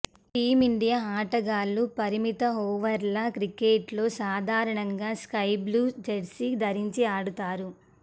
team India ఆటగాళ్లు పరిమిత ఓవర్ల క్రికెట్లో సాధారణంగా స్కై బ్లూ జెర్సీ ధరించి ఆడతారు